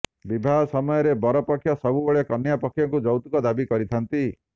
ବିବାହ ସମୟରେ ବର ପକ୍ଷ ସବୁବେଳେ କନ୍ୟା ପକ୍ଷରୁ ଯୌତୁକ ଦାବି କରିଥାନ୍ତି